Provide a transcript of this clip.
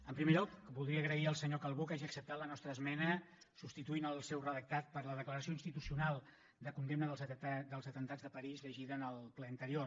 en primer lloc voldria agrair al senyor calbó que hagi acceptat la nostra esmena i hagi substituït el seu redactat per la declaració institucional de condemna dels atemptats de parís llegida en el ple anterior